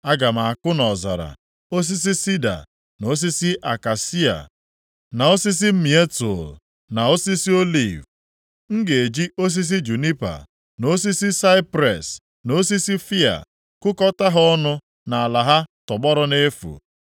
Aga m akụ nʼọzara, osisi sida, na osisi akashia, na osisi mietul, na osisi oliv. M ga-eji osisi junipa, na osisi saipres na osisi fịa, kụkọta ha ọnụ nʼala ahụ tọgbọrọ nʼefu,